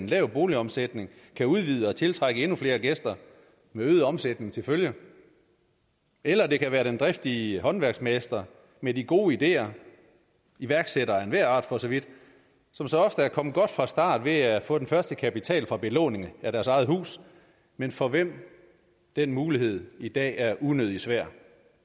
lav boligomsætning kan udvide og tiltrække endnu flere gæster med øget omsætning til følge eller det kan være den driftige håndværksmester med de gode ideer iværksættere af enhver art for så vidt som så ofte er kommet godt fra start ved at få den første kapital fra belåning af deres eget hus men for hvem den mulighed i dag er unødig svær